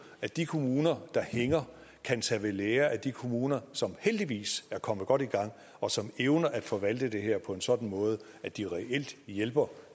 at de kommuner der hænger kan tage ved lære af de kommuner som heldigvis er kommet godt i gang og som evner at forvalte det her på en sådan måde at de reelt hjælper